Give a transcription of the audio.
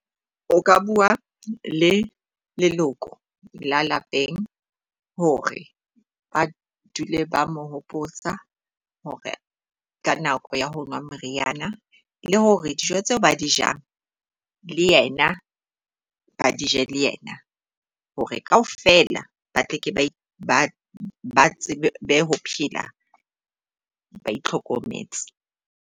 O ka bua le leloko la lapeng hore ba dule ba mo hopotsa hore ka nako ya ho nwa meriana. Le hore dijo tseo ba di jang le yena ba dije le yena, hore kaofela ba tle ke ba tsebe ho phela ba itlhokometse.